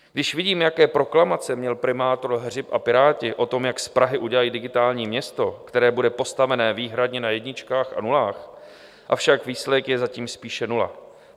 Když vidím, jaké proklamace měl primátor Hřib a Piráti o tom, jak z Prahy udělají digitální město, které bude postaveno výhradně na jedničkách a nulách, avšak výsledek je zatím spíše nula.